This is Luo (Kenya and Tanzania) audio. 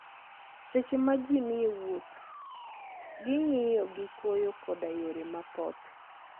Seche ma ji ni e wuoth, ging'iyo gi koyo koda yore mapoth.